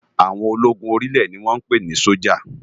Áwòn ólógún óri ilè ni wòn pé ni sójá